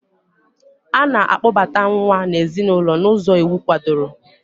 A na-akpobata nwa n'ezinụlọ n'ụzọ iwu kwadoro.